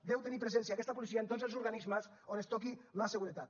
ha de tenir presència aquesta policia en tots els organismes on es toqui la seguretat